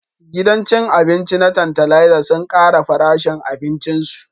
Gidan cin abinci na Tantalizer sun kara farashin abincin su